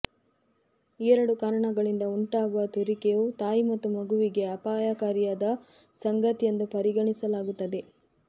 ಈ ಎರಡು ಕಾರಣಗಳಿಂದ ಉಂಟಾಗುವ ತುರಿಕೆಯು ತಾಯಿ ಮತ್ತು ಮಗುವಿಗೆ ಅಪಾಯಕಾರಿಯಾದ ಸಂಗತಿ ಎಂದು ಪರಿಗಣಿಸಲಾಗುತ್ತದೆ